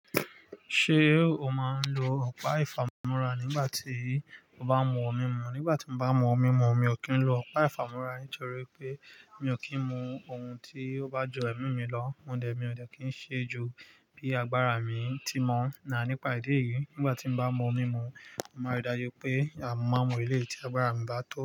Ṣé o máa ń lo ọ̀pá ìfámúrá nígbà tí o bá mú ọun mi mú? Nígbà tí mo bá mú ọun mi mú, mi ò kí ń lo ọ̀pá ìfámúrá nítorí pé mi ò kí ń mú ohun tí ó bá ju ẹ̀mí mi lọ. Mo dẹ̀, mi ò dẹ̀ kí ń ṣe ju bí agbára mi ti mọ̀ náà nípa ìdí èyí. Nígbà tí mo bá mú ọmú mú, màá rí dájú pé a mo má n mú eleyi tí agbára mi bá tó.